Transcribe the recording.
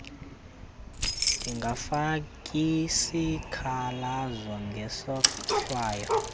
ndingafaki sikhalazo ngesohlwayo